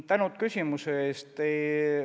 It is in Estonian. Tänu küsimuse eest!